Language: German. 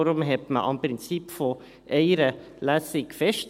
darum hielt man am Prinzip einer Lesung fest.